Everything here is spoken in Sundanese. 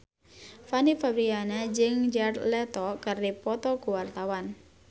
Fanny Fabriana jeung Jared Leto keur dipoto ku wartawan